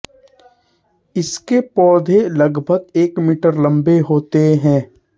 इसके पौधे लगभग एक मीटर लम्बे होते हैं